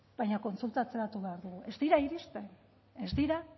baina kontsultatu behar dugu ez dira iristen ez dira